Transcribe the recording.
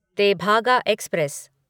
Tebhaga express